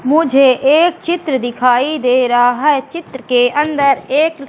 मुझे एक चित्र दिखाई दे रहा है चित्र के अंदर एक--